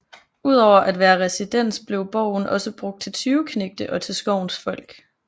Ud over at være residens blev borgen også brugt til tyveknægte og til skovens folk